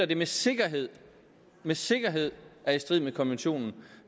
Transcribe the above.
det med sikkerhed med sikkerhed er i strid med konventionen